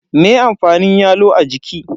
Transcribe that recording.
Me amfanin yalo a jiki?